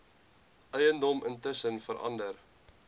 eiendom intussen verander